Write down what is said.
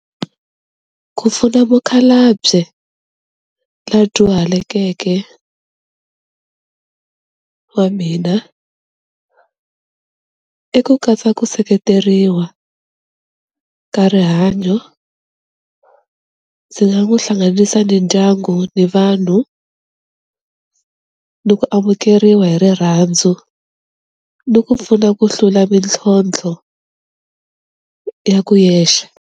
Ku pfuna mukhalabye la dyuhalekeke wa mina i ku katsa ku seketeriwa ka rihanyo, ndzi nga n'wu hlanganisa ni ndyangu ni vanhu ni ku amukeriwa hi rirhandzu ni ku pfuna ku hlula mintlhontlho ya ku yexe.